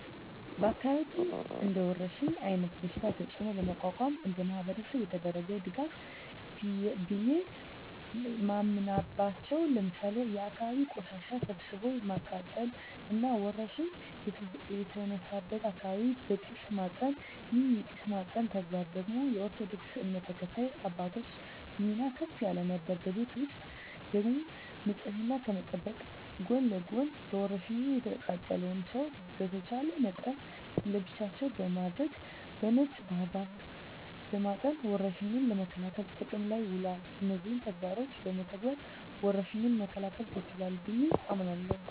በአካባቢያችን እንደወረርሽኝ አይነት በሽታ ተጽኖ ለመቋቋም እንደማህበረሰብ የተደረገ ድጋፍ ቢየ ማምናበቻው ለምሳሌ የአካባቢን ቆሻሻ ሰብስቦ ማቃጠል እና ወረርሽኝ የተነሳበትን አካባቢ በጢስ ማጠን ይህን የጢስ ማጠን ተግባር ደግሞ የኦርቶዶክስ እምነት ተከታይ አባቶች ሚና ከፍ ያለ ነበር። በቤት ውስጥ ደግሞ ንጽህናን ከመጠበቅ ጎን ለጎን በወርሽኙ የተጠቃውን ሰው በተቻለ መጠን ለብቻው በማድረግ በነጭ ባህር ዛፍ በማጠን ወረርሽኙን ለመከላከል ጥቅም ላይ ውሏል። እነዚህን ተግባሮች በመተግበር ወረርሽኙን መከላከል ተችሏል ብየ አምናለሁ።